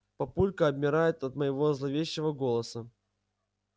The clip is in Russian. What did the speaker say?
папулька обмирает от моего зловещего голоса